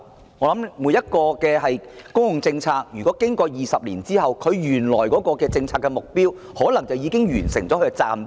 我想每項公共政策經過20年後，原來的政策目標可能已經完成任務。